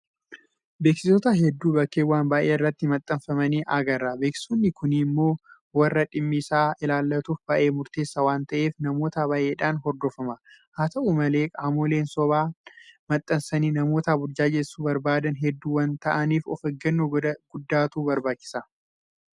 Beeksisoota hedduu bakkeewwan baay'ee irratti maxxanfamanii agarra. Beeksisoonni kun immoo warra dhimmi isaa ilaallatuuf baay'ee murteessaa waanta ta'eef namoota baay'eedhaan hordofama. Haata'u malee qaamoleen sobaan maxxansanii namoota burjaajessuu barbaadan hedduu waanta ta'aniif ofeeggannoo guddaatu barbaachisa.